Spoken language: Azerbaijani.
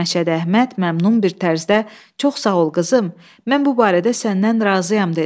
Məşədi Əhməd məmnun bir tərzdə "Çox sağ ol qızım, mən bu barədə səndən razıyam" dedi.